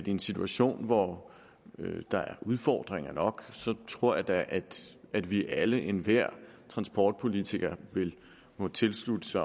en situation hvor der er udfordringer nok tror jeg da at vi alle og enhver af transportpolitikerne kunne tilslutte